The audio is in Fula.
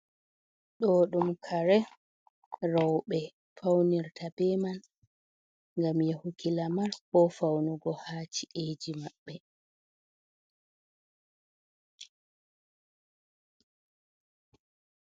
Ɗo ɗum kare rowɓe fawnirta be man, ngam yahuki lamar, ko fawnugo, haa ci’eji maɓɓe.